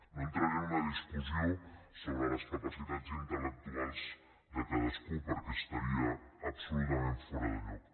no entraré en una discussió sobre les capacitats intelde cadascú perquè estaria absolutament fora de lloc